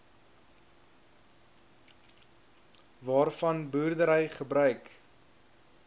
waarvan boerdery gebruik